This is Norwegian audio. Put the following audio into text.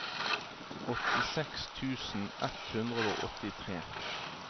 åttiseks tusen ett hundre og åttitre